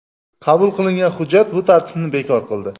Qabul qilingan hujjat bu tartibni bekor qildi.